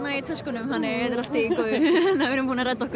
í töskunum þannig við erum búnar að redda okkur